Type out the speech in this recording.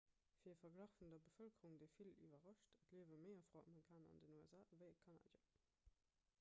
fir e verglach vun der bevëlkerung dee vill iwwerrascht et liewe méi afroamerikaner an den usa ewéi kanadier